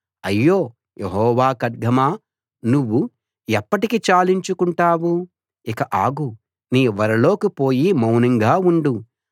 అయ్యో యెహోవా ఖడ్గమా నువ్వు ఎప్పటికి చాలించుకుంటావు ఇక ఆగు నీ వరలోకి పోయి మౌనంగా ఉండు